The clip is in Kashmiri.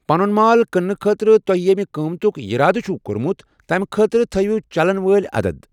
پنُن مال کٕنٛنہٕ خٲطرٕتۄہہِ ییٚمہ قۭمتُک یَرادٕ چھوٕ کوٚرمُت تمہِ خٲطرٕ تھٲوو چلن وٲلۍ عَدد۔